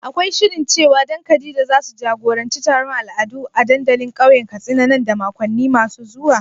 Akwai shirin cewa Dan da Khadija zasu jagoranci taron al'adu a dandalin kauyen Katsina nan da makonni masu zuwa?